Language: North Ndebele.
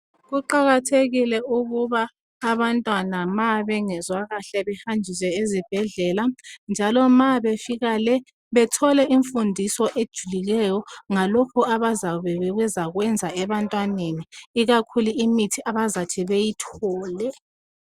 Kuqakathekile ukuthi ma abantwana bengezwa kuhle behanjiswe ezibhedlela njalo ma befika le bathole imfundiso ejulileyo ngalokho abayabe bezakwenza ebantwaneni ikakhulu imithi abazathi beyithole.